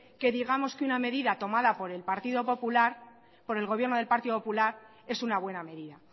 que digamos que una medida tomada por el partido popular por el gobierno del partido popular es una buena medida